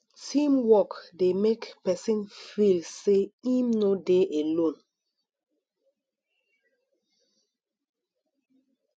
teamwork de make persin feel say im no de alone